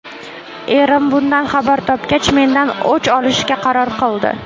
Erim bundan xabar topgach mendan o‘ch olishga qaror qildi.